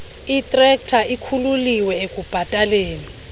itrekta ikhululiwe ekubhataleni